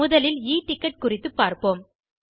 முதலில் e ticket குறித்துப் பார்ப்போம்